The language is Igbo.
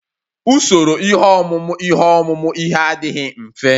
Usoro ihe ọmụmụ ihe ọmụmụ ihe adịghị mfe